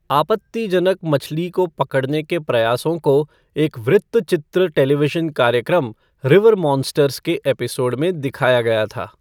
आपत्तिजनक मछली को पकड़ने के प्रयासों को एक वृत्तचित्र टेलीविज़न कार्यक्रम, रिवर मॉन्स्टर्स के एपिसोड में दिखाया गया था।